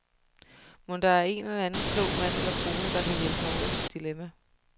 Mon der er en eller anden klog mand eller kone, der kan hjælpe mig ud af mit dilemma?